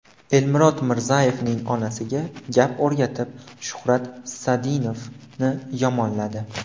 Elmurod Mirzayevning onasiga gap o‘rgatib Shuhrat Sadinovni yomonladi.